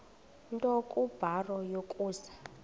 nto kubarrow yokusa